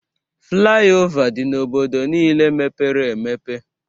Fliova dị n'obodo niile mepere emepe